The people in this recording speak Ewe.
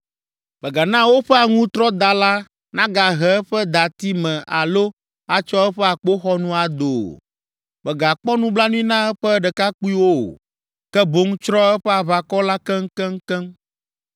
Mègana woƒe aŋutrɔdala nagahe eƒe dati me alo atsɔ eƒe akpoxɔnu ado o. Mègakpɔ nublanui na eƒe ɖekakpuiwo o, ke boŋ tsrɔ̃ eƒe aʋakɔ la keŋkeŋkeŋ.